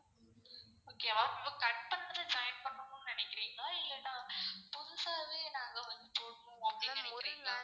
okay வா join பண்ணும்னு நினைக்குறீங்களா இல்லனா புதுசாவே நாங்க வந்துட்டு போடணும் அப்படின்னு நினைக்குறீங்களா?